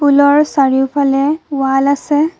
পুলৰ চাৰিওফালে ৱাল আছে।